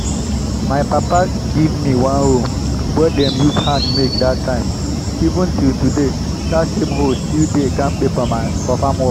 my papa give me one hoe wey dem use hand make dat time. even till today that same hoe still dey kampe for farm work.